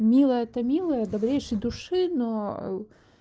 милая это милая добрейшей души но